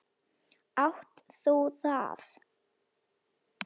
Átt þú það?